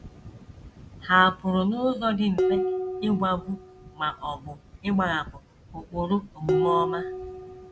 Ha pụrụ n’ụzọ dị mfe ịgwagbu ma ọ bụ ịgbahapụ ụkpụrụ omume ọma.